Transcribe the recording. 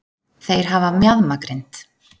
þeir hafa mjaðmagrind